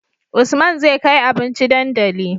Usman zai kai abinci dandali